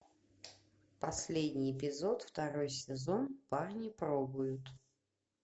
последний эпизод второй сезон парни пробуют